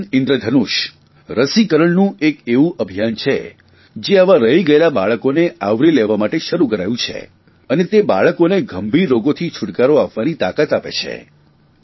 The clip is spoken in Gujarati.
મિશન ઇન્દ્ર ધનુષ રસીરણનું એક એવું અભિયાન છે જે આવાં રહી ગયેલાં બાળકોને આવરી લેવા માટે શરૂ કરાયું છે અને તે બાળકોને ગંભીર રોગોથી છૂટકારો અપાવવાની તાકાત આપે છે